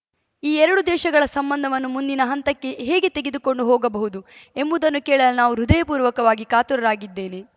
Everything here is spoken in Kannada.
ಈ ಎರಡು ದೇಶಗಳ ಸಂಬಂಧವನ್ನು ಮುಂದಿನ ಹಂತಕ್ಕೆ ಹೇಗೆ ತೆಗೆದುಕೊಂಡು ಹೋಗಬಹುದು ಎಂಬುದನ್ನು ಕೇಳಲು ನಾನು ಹೃದಯಪೂರ್ವಕವಾಗಿ ಕಾತುರನಾಗಿದ್ದೇನೆ